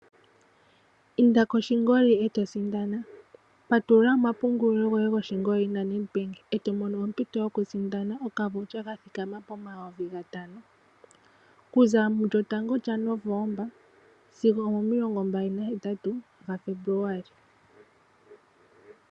Inda koshingoli e to sindana, patulula omapungulilo goye goshingoli naNed Bank e to mono ompito yokusindana okakalata kokulanda ka thikama pomayovi gatano okuza mulyotango lyaNovemba sigo omomilongombali nahetatu gaFebuluali.